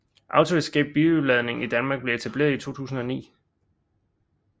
Auto Escape Biludlejning i Danmark blev etableret i 2009